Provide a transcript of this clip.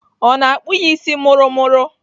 Ọ na-akpụ ya isi mụrụmụrụ?